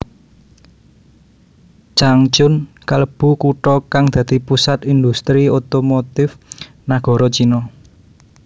Changchun kalebu kutha kang dadi pusat industri otomotif nagara Cina